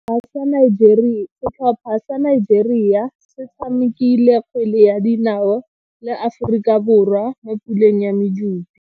Setlhopha sa Nigeria se tshamekile kgwele ya dinao le Aforika Borwa mo puleng ya medupe.